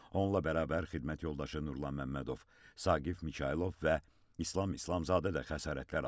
Onunla bərabər xidmət yoldaşı Nurlan Məmmədov, Saqif Mikayılov və İslam İslamzadə də xəsarətlər alıb.